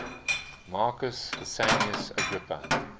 marcus vipsanius agrippa